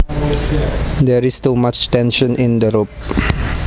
There is too much tension in the rope